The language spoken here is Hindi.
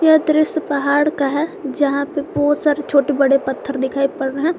यह दृश्य पहाड़ का है जहां पे बहुत सारे छोटे बड़े पत्थर दिखाई पड़ रहे हैं।